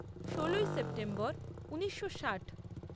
ষোলোই সেপ্টেম্বর ঊনিশো ষাট